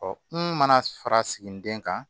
kun mana fara sigininden kan